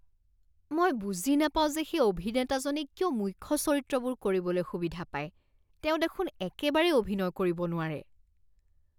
মই বুজি নাপাওঁ যে সেই অভিনেতাজনে কিয় মুখ্য চৰিত্ৰবোৰ কৰিবলৈ সুবিধা পায়। তেওঁ দেখোন একেবাৰেই অভিনয় কৰিব নোৱাৰে।